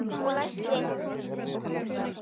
Og læsti.